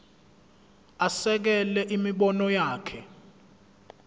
asekele imibono yakhe